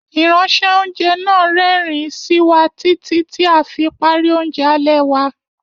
Ìránṣẹ́- oúnjẹ náà rẹ́rìn-ín sí wa títí tí a fi parí oúnjẹ alẹ́ wa.